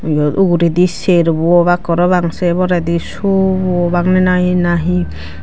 eyod uguraydi cerbow obak parapang say poraydi sobow obak nahi.